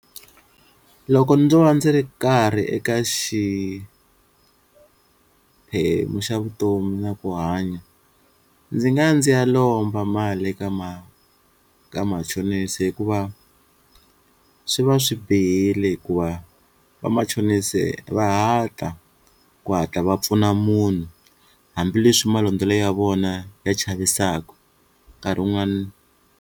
Loko ndzo va ndzi ri karhi eka xiphemu xa vutomi na ku hanya ndzi nga ya ndzi ya lomba mali ka ma machonisi hikuva swi va swi bihile hikuva vamachonisi va ku hatla va pfuna munhu hambileswi malondzelo ya vona ya chavisaku nkarhi wun'wana.